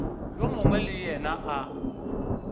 yo mongwe le yena a